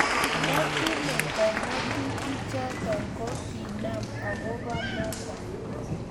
nnda kimeto ngatutik chotok ko kenam akoba notok